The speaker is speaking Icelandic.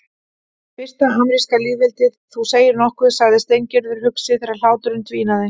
Fyrsta ameríska lýðveldið, þú segir nokkuð sagði Steingerður hugsi þegar hláturinn dvínaði.